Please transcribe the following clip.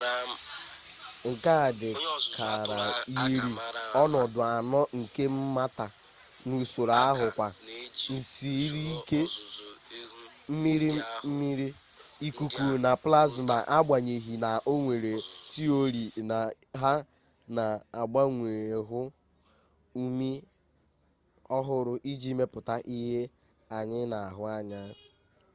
nke a dị kara yiri ọnọdụ anọ nke mata n’usoro ahụ kwa: nsiriike mmiri mmiri ikuku na plasma agbanyeghị na o nyere tiori na ha na-agbanwe ghụọ umi ọhụrụ iji mepụta ihe anyị na-ahụ anya